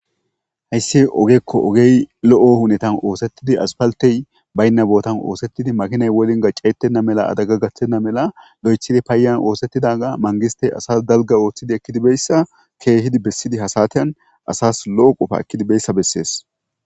Hayssi ogekko ogey lo'o hunetan oosettidi aspaltey baynna bootan oosettidi makinay wolnga ceetenna mela adagga gathtenna mela lo'echidi paayan oosettidaga mangistey asas dalga ooththidi ekkidibeyssa keehidi bessidi hasateyan asas lo'o qofa ekkidibeyssa bessees.